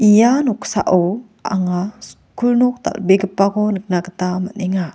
ia noksao anga skul nok dal·begipako nikna gita man·enga.